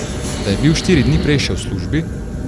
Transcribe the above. Da je bil štiri dni prej še v službi?